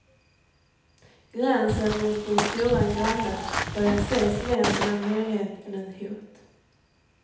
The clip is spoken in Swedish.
Gränsen mot den stora grannen börjar ses mer som en möjlighet än ett hot.